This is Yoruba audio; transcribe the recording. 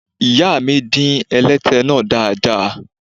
Ìyáàmi dín ẹlẹ́tẹ náà dáadáa.